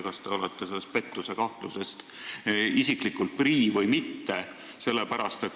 Kas te olete sellest pettusekahtlusest isiklikult prii või mitte?